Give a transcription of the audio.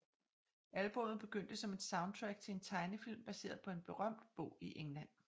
Albummet begyndte som et soundtrack til en tegnefilm baseret på en berømt bog i England